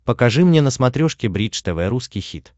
покажи мне на смотрешке бридж тв русский хит